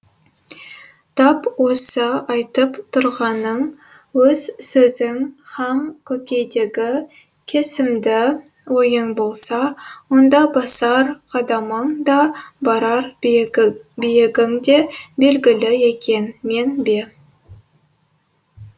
тап осы айтып тұрғаның өз сөзің һәм көкейдегі кесімді ойың болса онда басар қадамың да барар биігің де белгілі екен мен бе